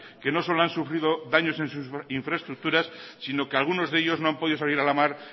que no solo han sufrido daños en su infraestructuras sino que alguno de ellos no han podido salir a la mar